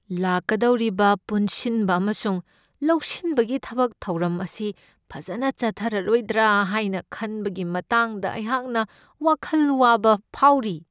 ꯂꯥꯛꯀꯗꯧꯔꯤꯕ ꯄꯨꯟꯁꯤꯟꯕ ꯑꯃꯁꯨꯡ ꯂꯧꯁꯤꯟꯕꯒꯤ ꯊꯕꯛ ꯊꯧꯔꯝ ꯑꯁꯤ ꯐꯖꯅ ꯆꯠꯊꯔꯔꯣꯏꯗ꯭ꯔꯥ ꯍꯥꯏꯅ ꯈꯟꯕꯒꯤ ꯃꯇꯥꯡꯗ ꯑꯩꯍꯥꯛꯅ ꯋꯥꯈꯜ ꯋꯥꯕ ꯐꯥꯎꯔꯤ꯫